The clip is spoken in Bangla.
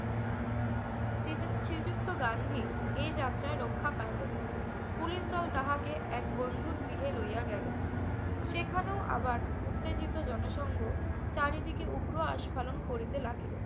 শ্রীযু~ শ্রীযুক্ত গান্ধী এ যাত্রায় রক্ষা পাইলেন। পুলিশদল তাহাকে এক বন্ধুর গৃহে লইয়া গেল। সেখানেও আবার উত্তেজিত জনসংঘ চারিদিকে উগ্র আস্ফালন করিতে লাগিল।